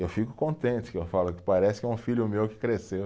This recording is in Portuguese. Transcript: Eu fico contente que eu falo que parece que é um filho meu que cresceu.